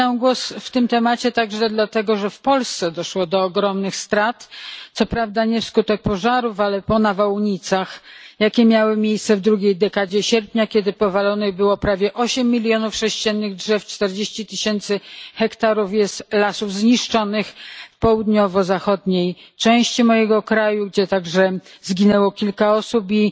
Zabieram głos w tym temacie także dlatego, że w Polsce doszło do ogromnych strat, co prawda nie wskutek pożarów, ale po nawałnicach, jakie miały miejsce w drugiej dekadzie sierpnia, kiedy to powalonych zostało prawie osiem milionów sześciennych drzew. Zniszczonych jest czterdzieści tysięcy hektarów lasów w południowo zachodniej części mojego kraju, gdzie także zginęło kilka osób i